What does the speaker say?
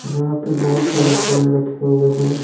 जहाँ पे बहुत सारे फले रखे हुए है।